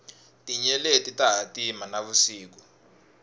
tinyeleti ta hatima na vusiku